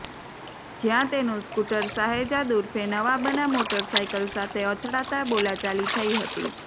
જ્યાં તેનું સ્કૂટર શહેજાદ ઉર્ફે નવાબના મોટરસાઇકલ સાથે અથડાતાં બોલાચાલી થઇ હતી